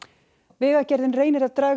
vegagerðin reynir að draga